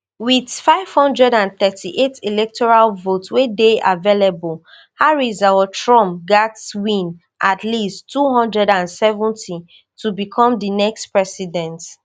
wit five hundred and thirty-eight electoral votes wey dey available harris or trump gatz win at least two hundred and seventy to become di next president